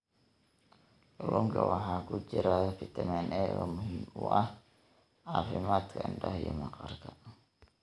Kalluunka waxaa ku jira fitamiin A oo muhiim u ah caafimaadka indhaha iyo maqaarka.